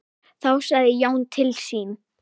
Þá sagði Jón til sín.